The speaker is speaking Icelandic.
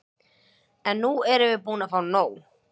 En nú erum við búin að nóg!